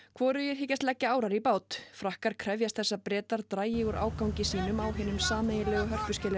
hvorugir hyggjast leggja árar í bát frakkar krefjast þess að Bretar dragi úr ágangi sínum á hinum sameiginlegu